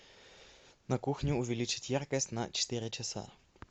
на кухне увеличить яркость на четыре часа